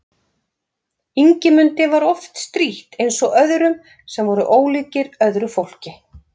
Ingimundi var oft strítt eins og öðrum sem voru ólíkir öðru fólki.